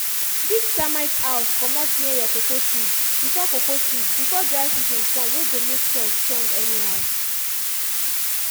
dig termite house comot near your cocoa trees before cocoa trees before dry season come wey go make soil strong anyhow